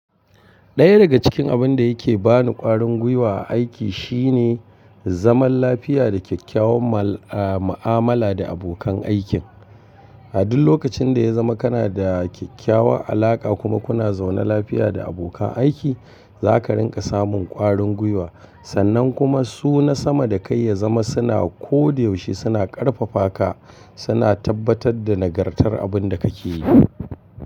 Ɗaya daga cikin abin da yake ba ni ƙwarin gwiwa a aiki shine zaman lafiya da kyakkyawan ma'amala da abokan aikin. A duk lokacin da ya zama kana da kyakkyawa alaƙa kuma kuna zaune lafiya da abokan aiki, za ka rinƙa samun ƙwarin gwiwa. Sannan kuma su na sama da kai ya zama suna ko da yaushe suna ƙarfafa ka, suna tabbatar da nagartar abin da kake yi.